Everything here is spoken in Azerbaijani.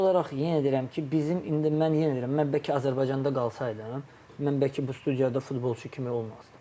Sadəcə olaraq, yenə deyirəm ki, bizim indi mən yenə deyirəm, mən bəlkə Azərbaycanda qalsaydım, mən bəlkə bu studiyada futbolçu kimi olmazdım.